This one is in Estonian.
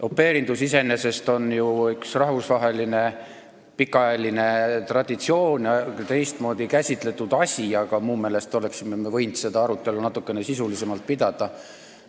Au pair'indus iseenesest on ju rahvusvaheline pikaajaline traditsioon, see on teistmoodi käsitletud asi, aga minu meelest oleksime me võinud seda arutelu natukene sisulisemalt pidada.